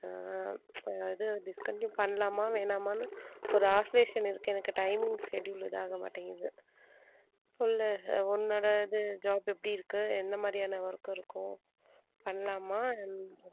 அஹ் அது discontinue பண்ணலாமா வேணாமா ஒரு oscillation இருக்கு எனக்கு timing schedule இதாகமாட்டேங்குது. சொல்லு உன்னோடது job எப்படி இருக்கு எந்த மாதிரியான work இருக்கும் பண்ணலாமா.